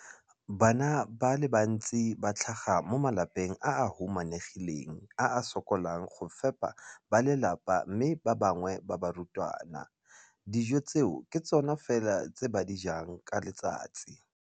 Bana ba le bantsi ba tlhaga mo malapeng a a humanegileng a a sokolang go ka fepa ba lelapa mme ba bangwe ba barutwana, dijo tseo ke tsona fela tse ba di jang ka letsatsi.